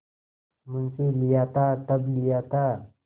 मुंशीलिया था तब लिया था